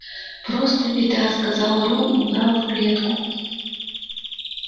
просто беда сказал рон убрав рулетку